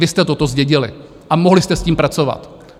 Vy jste toto zdědili a mohli jste s tím pracovat.